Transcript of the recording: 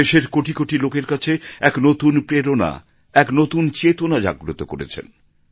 ওঁরা দেশের কোটি কোটি লোকের কাছে এক নতুন প্রেরণা এক নতুন চেতনা জাগ্রত করেছেন